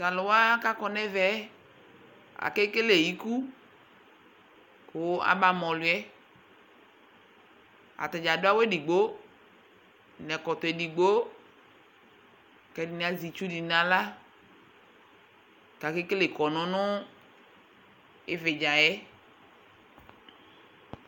to alòwa k'akɔ n'ɛvɛ yɛ ake kele iku kò aba ma ɔlò yɛ atadza adu awu edigbo n'ɛkɔtɔ edigbo k'ɛdini azɛ itsu di n'ala k'ake kele kɔnu no ividza yɛ